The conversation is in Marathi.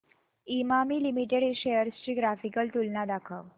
इमामी लिमिटेड शेअर्स ची ग्राफिकल तुलना दाखव